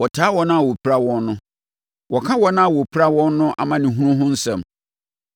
Wɔtaa wɔn a wopira wɔn no, wɔka wɔn a wopira wɔn no amanehunu ho asɛm.